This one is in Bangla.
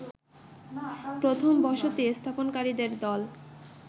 প্রথম বসতি স্থাপনকারীদের দল